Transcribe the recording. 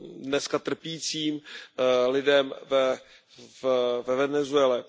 dneska trpícím lidem ve Venezuele.